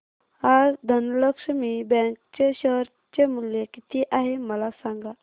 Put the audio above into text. आज धनलक्ष्मी बँक चे शेअर चे मूल्य किती आहे मला सांगा